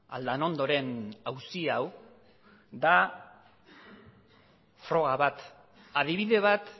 aldanondoren auzi hau da froga bat adibide bat